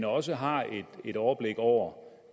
også har et overblik over